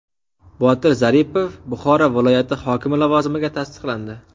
Botir Zaripov Buxoro viloyati hokimi lavozimiga tasdiqlandi.